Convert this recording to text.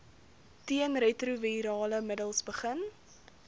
teenretrovirale middels begin